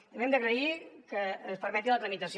també hem d’agrair que es permeti la tramitació